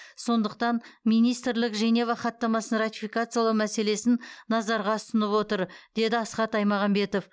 сондықтан министрлік женева хаттамасын ратификациялау мәселесін назарға ұсынып отыр деді асхат аймағамбетов